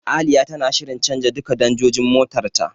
Aliya tana shirin canja duka danjojin motar ta.